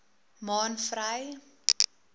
maanvry